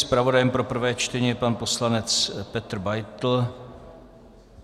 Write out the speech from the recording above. Zpravodajem pro prvé čtení je pan poslanec Petr Beitl.